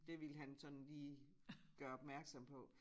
De ville han sådan lige gøre opmærksom på